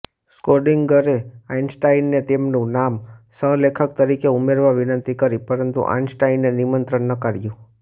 સ્કોર્ડિંગરે આઈન્સ્ટાઈનને તેમનું નામ સહલેખક તરીકે ઉમેરવા વિનંતી કરી પરંતુ આઈન્સ્ટાઈને નિમંત્રણ નકાર્યું